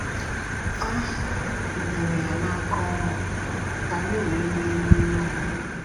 A nyere ya n’aka ọnwụ, ka anyị wee nwee nnwere onwe.